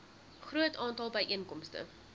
groot aantal byeenkomste